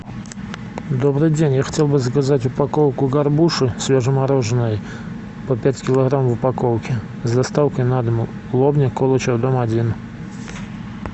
добрый день я хотел бы заказать упаковку горбуши свежемороженой по пять килограмм в упаковке с доставкой на дом лобня колычева дом один